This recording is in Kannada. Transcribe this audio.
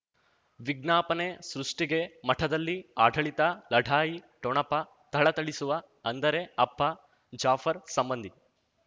ವಿಜ್ಞಾಪನೆ ಸೃಷ್ಟಿಗೆ ಮಠದಲ್ಲಿ ಆಡಳಿತ ಲಢಾಯಿ ಠೊಣಪ ಥಳಥಳಿಸುವ ಅಂದರೆ ಅಪ್ಪ ಜಾಫರ್ ಸಂಬಂಧಿ